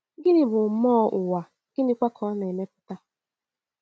Gịnị bụ mmụọ ụwa, gịnịkwa ka ọ na-emepụta?